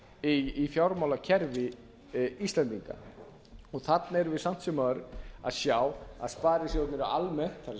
ár í fjármálakerfi íslendinga og þarna erum við samt sem áður að sjá að sparisjóðirnir eru almennt það er